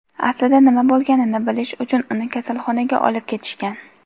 aslida nima bo‘lganini bilish uchun uni kasalxonaga olib ketishgan.